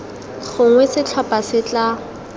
gongwe setlhopha se se tla